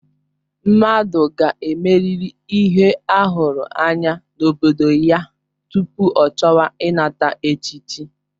Mmadụ ga-emerịrị ihe a hụrụ anya n'obodo ya tupu ọ chọwa ịnata echichi.